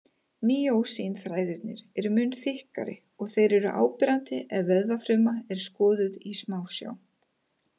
Mýósín-þræðirnir eru mun þykkari og þeir eru áberandi ef vöðvafruma er skoðuð í smásjá.